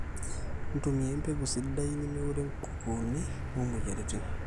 ntumia embegu sidai nemeurre nkukuuni o mweyiaritin